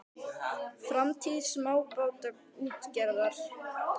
Framtíð smábátaútgerðar?